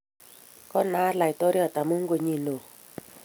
Ko naat laitoriat amun ko nyi ne oo.